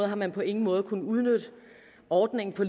har man på ingen måde kunnet udnytte ordningen på